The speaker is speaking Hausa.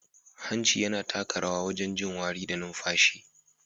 Hanci yana taka rawa wajen jin wari da numfashi.